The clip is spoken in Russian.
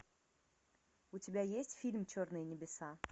у тебя есть фильм черные небеса